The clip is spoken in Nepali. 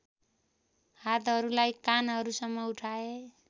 हातहरूलाई कानहरूसम्म उठाए